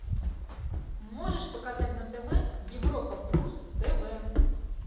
можешь показать на тв европа плюс тв